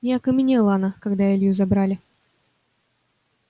не окаменела она когда илью забрали